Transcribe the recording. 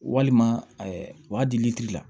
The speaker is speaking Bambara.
Walima wa deli la